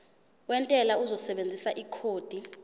wentela uzosebenzisa ikhodi